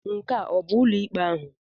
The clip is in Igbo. Nke a abụ ụlọ ụlọikpe ahụ?